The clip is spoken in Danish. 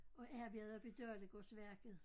Og arbejdede oppe i Dalegårdsværket